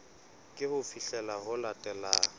ke ho fihlela ho latelang